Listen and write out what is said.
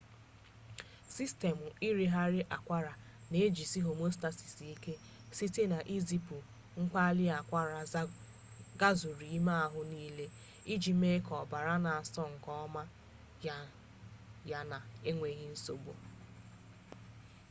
sistemụ irighiri akwara na-ejisi homeostasis ike site na izipu mkpali akwara gazuru ime ahụ niile iji mee ka ọbara na-asọ nke ọma yana enweghi nsogbu